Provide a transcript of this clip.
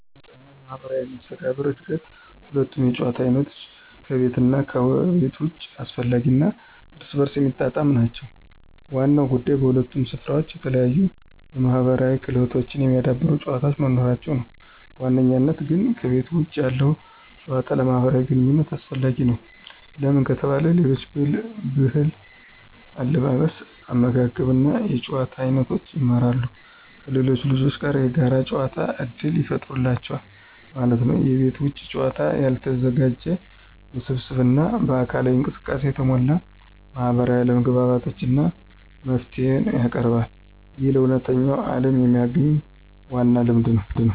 ለሕፃናት ማህበራዊ መስተጋብር እድገት ሁለቱም የጨዋታ አይነቶች (ከቤት ውስጥ እና ከቤት ውጭ) አስፈላጊ እና እርስ በርስ የሚጣጣሙ ናቸው። ዋናው ጉዳይ በሁለቱም ስፍራዎች የተለያዩ የማህበራዊ ክህሎቶችን የሚያዳብሩ ጨዋታዎች መኖራቸው ነው። በዋነኝነት ግን ከቤተ ውጭ ያለው ጭዋታ ለማህብራዊ ግንኝነት አሰፈላጊ ነው። ለምን ከተባለ የሌሎች ብህል አለባበስ አመጋገብ እና የጭዋታ አይኖቶችን ይማራሉ። ከሌሎች ልጆች ጋር የጋር ጨዋታ እድል ይፍጠሩላቸዋል ማለት ነው። የቤት ውጭ ጨዋታ ያልተዘጋጀ፣ ውስብስብ እና በአካላዊ እንቅስቃሴ የተሞላ ማህበራዊ አለመግባባትን እና መፍትሄን ያቀርባል። ይህ ለእውነተኛው ዓለም የሚያግኝ ዋና ልምድ ነው።